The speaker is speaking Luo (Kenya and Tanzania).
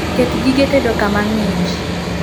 Ket gige tedo kama ng'ich